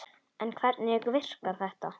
En hvernig virkar þetta?